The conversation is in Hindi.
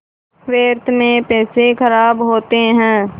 व्यर्थ में पैसे ख़राब होते हैं